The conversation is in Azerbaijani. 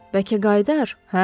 Bəlkə qayıdar, hə?